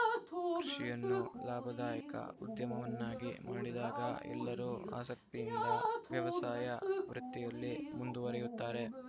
ಕೃಷಿಯನ್ನು ಲಾಭದಾಯಕ ಉದ್ಯಮವನ್ನಾಗಿ ಮಾಡಿದಾಗ ಎಲ್ಲರೂ ಆಸಕ್ತಿಯಿಂದ ವ್ಯವಸಾಯ ವೃತ್ತಿಯಲ್ಲಿ ಮುಂದುವರೆಯುತ್ತಾರೆ